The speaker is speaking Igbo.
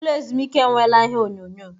Ụlọ ezumike enweela ihe onyonyo.